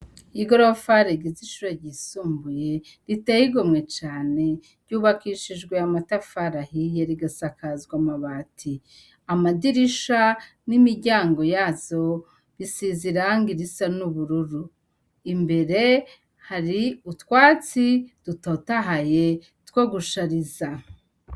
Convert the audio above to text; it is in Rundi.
Igorofa rigize ishure ryisumbuye riteye igomwe cane, ryubakishijwe amatafari ahiye rigasakazwa amabati, amadirisha n'imiryango yazo isiz'irangi risa n'ubururu, imbere hari utwatsi dutotahaye twogushariza.